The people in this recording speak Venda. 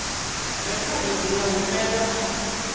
rekhodo dzi nga humbelwa kha